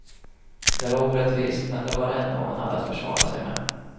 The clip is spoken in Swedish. Det var orättvist, men det var det enda hon hade att försvara sig med.